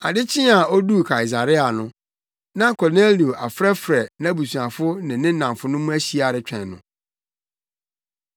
Ade kyee a oduu Kaesarea no, na Kornelio afrɛfrɛ nʼabusuafo ne ne nnamfonom ahyia retwɛn no.